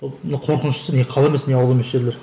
ы қорқыныштысы не қала емес не ауыл емес жерлер